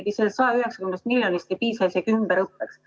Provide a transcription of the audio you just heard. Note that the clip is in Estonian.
Sellest 190 miljonist ei piisa isegi ümberõppeks.